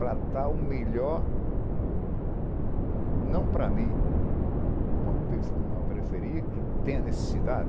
Para dar o melhor, não para mim, para uma pe uma periferia que tem a necessidade,